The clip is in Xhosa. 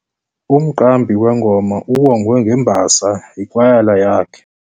Umqambi wengoma uwongwe ngembasa yikwayala yakhe.